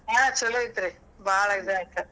ಹಾ ಚುಲೊ ಐತ್ರಿ ಬಾಳ್ ಇದ್ ಆಯ್ತ್.